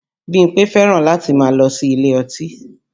Bímpé fẹ́ràn láti máa lọ sí ilé ọtí